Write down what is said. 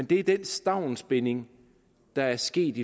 det er den stavnsbinding der er sket